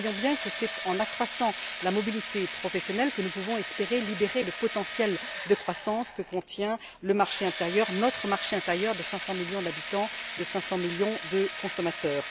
Nous voyons bien que c'est en accroissant la mobilité professionnelle que nous pouvons espérer libérer le potentiel de croissance que contient le marché intérieur, notre marché intérieur, de 500 millions d'habitants, de 500 millions de consommateurs.